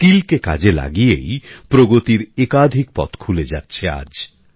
দক্ষতাকে কাজে লাগিয়েই প্রগতির একাধিক পথ খুলে যাচ্ছে আজ